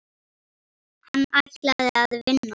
Hann ætlaði að vinna.